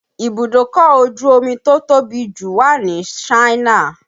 Ibùdókọ̀ ojú omi tó tóbi jù wà ní Ṣáínà